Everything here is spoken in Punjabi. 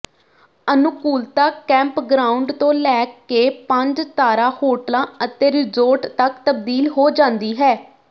ਅਨੁਕੂਲਤਾ ਕੈਂਪਗ੍ਰਾਉਂਡ ਤੋਂ ਲੈ ਕੇ ਪੰਜ ਤਾਰਾ ਹੋਟਲਾਂ ਅਤੇ ਰਿਜ਼ੋਰਟ ਤੱਕ ਤਬਦੀਲ ਹੋ ਜਾਂਦੀ ਹੈ